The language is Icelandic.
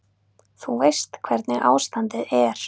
Þú veist hvernig ástandið er.